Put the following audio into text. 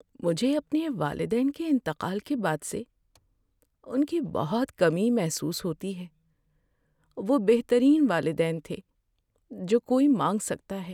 مجھے اپنے والدین کے انتقال کے بعد سے ان کی بہت کمی محسوس ہوتی ہے۔ وہ بہترین والدین تھے جو کوئی مانگ سکتا ہے۔